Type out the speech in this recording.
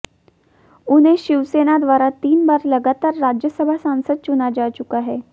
उन्हें शिवसेना द्वारा तीन बार लगातार राज्यसभा सांसद चुना जा चुका है